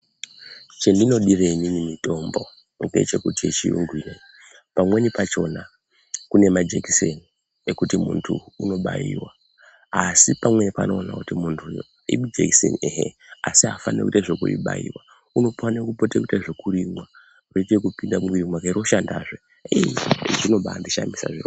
Chandinodire inini mitombo ngechekuti yechiyungu inoyi pamweni pachona kune majekiseni ekuti muntu unobaiwa asi pamweni panoona kuti uyo mumhu ijekiseni ehe asi afaniri kuitwe zvekubaiwa unofane kupote eite zvekurimwa roite ekupinde mumwiri mwake roshanda zvee ii! zvinobaandishamisa zvirozvo.